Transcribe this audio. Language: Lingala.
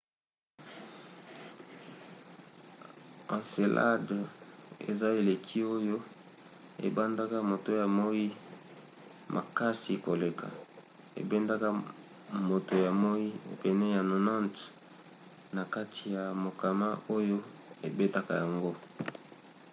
encelade eza eleki oyo ebandaka moto ya moi makasi koleka ebendaka moto ya moi pene ya 90 na kati ya mokama oyo ebetaka yango